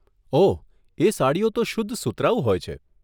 ઓહ, એ સાડીઓ તો શુદ્ધ સુતરાઉ હોય છે.